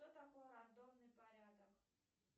что такое рандомный порядок